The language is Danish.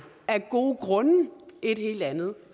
af gode grund et helt andet